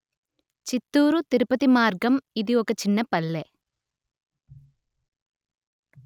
చిత్తూరు తిరుపతి మార్గం ఇది ఒక చిన్న పల్లె